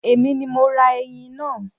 Èmi ni mo ra ẹyin náà